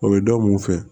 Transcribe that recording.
O bɛ dɔ mun fɛ